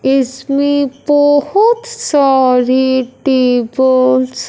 इसमें तो बहोत सारे टेबल्स --